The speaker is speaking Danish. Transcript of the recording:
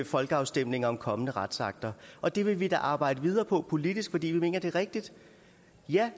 folkeafstemninger om kommende retsakter og det vil vi da arbejde videre på politisk fordi vi mener det er rigtigt ja